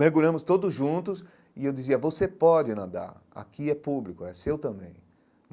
Mergulhamos todos juntos e eu dizia, você pode nadar, aqui é público, é seu também.